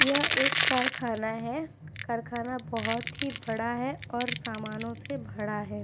यह एक कारखाना है। कारखाना बहोत ही बड़ा है और सामानो से भड़ा है।